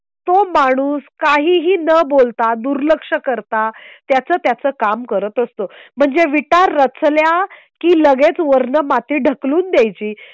तो माणूस काहीही न बोलता दुर्लक्ष करता त्याचं त्याचं काम करत असतो. म्हणजे विटा रचल्या की लगेच वरून माती ढकलून द्यायची